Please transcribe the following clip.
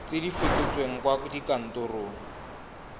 tse di fetotsweng kwa kantorong